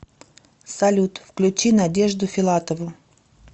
салют включи надежду филатову